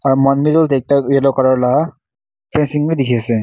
aro muan middle deh ekta yellow colour la fencing wi dikhi asey.